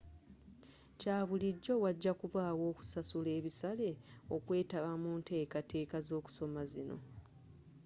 kyabulijjo wajakubawo okusasula ebisale okwetaba munteekateeka z'okusoma zino